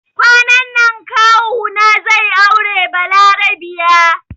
Kwanan nan kawu na zai aure balarabiya